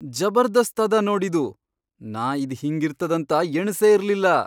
ಜಬರ್ದಸ್ತ್ ಅದ ನೋಡ್ ಇದು! ನಾ ಇದ್ ಹಿಂಗಿರ್ತದಂತ ಎಣಸೇ ಇರ್ಲಿಲ್ಲ!